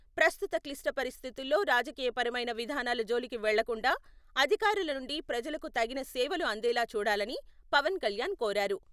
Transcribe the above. ప్రస్తుత క్లిష్ట పరిస్థితుల్లో రాజకీయపరమైన విధానాల జోలికి వెళ్లకుండా అధికారుల నుండి ప్రజలకు తగిన సేవలు అందేలా చూడాలని పవన్ కళ్యాణ్ కోరారు.